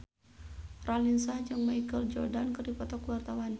Raline Shah jeung Michael Jordan keur dipoto ku wartawan